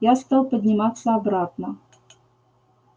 я стал подниматься обратно